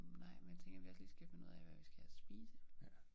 Nej men jeg tænker vi også lige skal finde ud af hvad vi skal have og spise